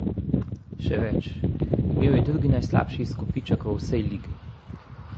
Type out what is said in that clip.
Še več, imel je drugi najslabši izkupiček v vsej ligi.